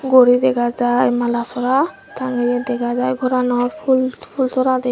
ekko guri dega jai mala sora tangeye dega jai goranot pul pulsoradi.